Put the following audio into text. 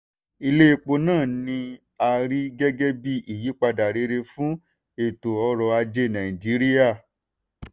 ilé epo náà ni a rí gẹ́gẹ́ bí ìyípadà rere fún eto ọrọ̀ ajé nàìjíríà.